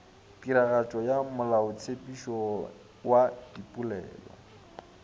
tiragatšo ya molaotshepetšo wa dipolelo